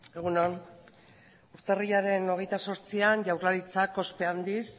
egun on urtarrilaren hogeita zortzian jaurlaritzak ospe handiz